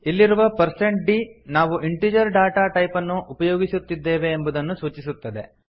ಇಲ್ಲಿರುವ percent d ನಾವು integer data type ಅನ್ನು ಉಪಯೋಗಿಸುತ್ತಿದ್ದೇವೆ ಎಂಬುದನ್ನು ಸೂಚಿಸುತ್ತದೆ